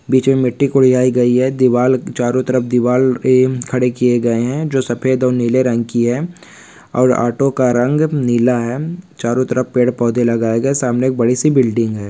बीच मे मिट्ठी खुदाई गयी है दीवार चारो तरफ दीवार है खड़े किए गए है जो सफ़ेद और नीले रंग की है और ऑटो का रंग नीला है चारो तरफ पेड़ पौधे लगाए गए सामने एक बड़ी सी बिल्डिंग है।